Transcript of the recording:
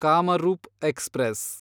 Kamrup express